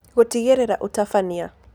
Gũtigĩrĩra Ũtabania: